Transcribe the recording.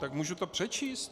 Tak můžu to přečíst?